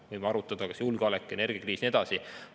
Me võime arutada, kas julgeolek, energiakriis ja nii edasi.